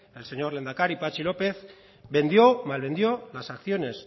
el señor lehendakari patxi lópez vendió malvendió las acciones